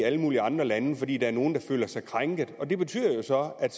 i alle mulige andre lande fordi der er nogle der føler sig krænket det betyder jo så at